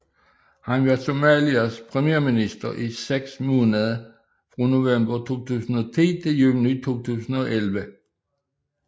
Han var Somalias premierminister i seks måneder fra november 2010 til juni 2011